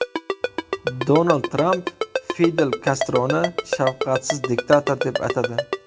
Donald Tramp Fidel Kastroni shafqatsiz diktator deb atadi.